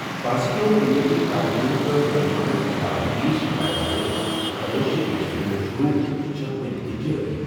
بھاینسے کٮ۪و B J P کارکُنن کٔر نوجوانَن خٕلاف پُلیٖس شِکایَت درٕج۔ تلٲشی گٔیہِ صُبحٲے شُروٗع تہٕ چھِ وُنہِ تہِ جٲری۔